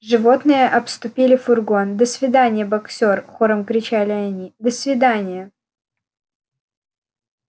животные обступили фургон до свидания боксёр хором кричали они до свиданья